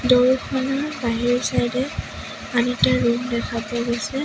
Door খনৰ বাহিৰৰ side এ আৰু এটা ৰুম দেখা পোৱা গৈছে।